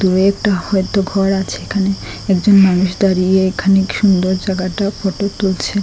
দু একটা হয়তো ঘর আছে এখানে একজন মানুষ দাঁড়িয়ে এখানে সুন্দর জায়গাটার ফোটো তুলছে।